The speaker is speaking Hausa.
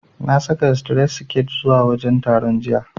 Na saka sitiret siket zuwa wajen taron, jiya.